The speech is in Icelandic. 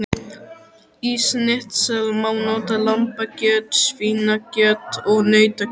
Í snitsel má nota lambakjöt, svínakjöt og nautakjöt.